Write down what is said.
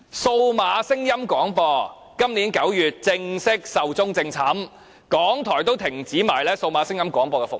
數碼聲音廣播今年9月正式壽終正寢，香港電台也停止了數碼聲音廣播服務。